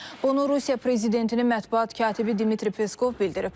Bunu Rusiya prezidentinin mətbuat katibi Dmitri Peskov bildirib.